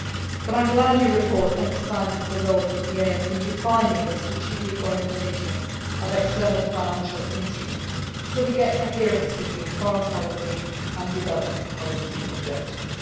them. But I am glad your report emphasises the role of the EEAS in defining the strategic orientation of external financial instruments so we get coherence between foreign policy and development policy objectives.